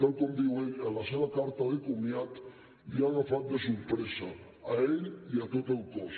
tal com diu ell en la seva carta de comiat l’ha agafat de sorpresa a ell i a tot el cos